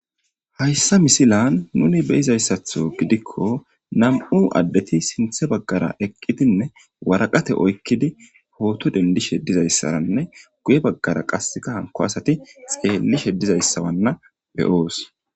Hayissa missilanni nuni be'izayissththo giddikko nam''u adeti sinththe bagara eqqidinne waraqata oyikkidi photo denidishshe dizayissaranne guye bagara qase hanikko asati xeelishshe dizayisanne be'os.